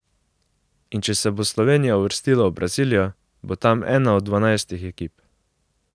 In če se bo Slovenija uvrstila v Brazilijo, bo tam ena od dvanajstih ekip.